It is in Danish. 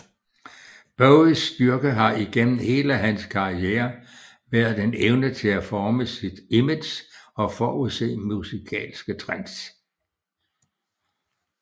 Bowies styrke har igennem hele hans karriere været en evne til at forme sit image og forudse musikalske trends